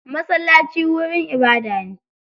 Masallaci wurin ibadah ne.